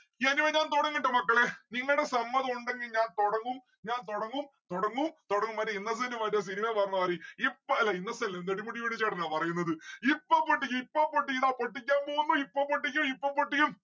ഞാന് ഒന്ന് തൊടങ്ങട്ടെ മക്കളെ നിങ്ങളുടെ സമ്മദം ഉണ്ടെങ്കിൽ ഞാൻ തൊടങ്ങും ഞാൻ തൊടങ്ങും തൊടങ്ങും തൊടങ്ങും. മറ്റേ ഇന്നസെന്റ് മറ്റേ cinema ൽ പറഞ്ഞ മാതിരി ഇപ്പ അല്ല ഇന്നസെന്റ അല്ല നെടുമുടി വേണു ചേട്ടനാ പറയുന്നത് ഇപ്പൊ പൊട്ടിക്കും ഇപ്പൊ പൊട്ടിക്കും ഇതാ പൊട്ടിക്കാൻ പോകുന്ന് ഇപ്പൊ പൊട്ടിക്കും ഇപ്പൊ പൊട്ടിക്കും